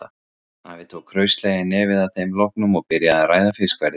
Afi tók hraustlega í nefið að þeim loknum og byrjaði að ræða fiskverðið.